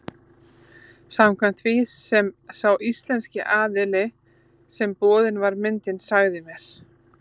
Samkvæmt því sem sá íslenski aðili sem boðin var myndin sagði mér.